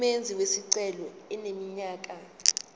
umenzi wesicelo eneminyaka